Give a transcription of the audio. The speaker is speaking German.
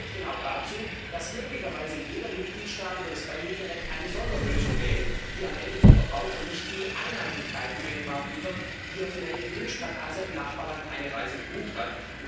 Aber das führt genau dazu, dass möglicherweise jeder Mitgliedstaat über das Beihilferecht eine Sonderlösung wählt, die am Ende dem Verbraucher nicht die Einheitlichkeit im Binnenmarkt liefert, die er vielleicht gewünscht hat, als er im Nachbarland eine Reise gebucht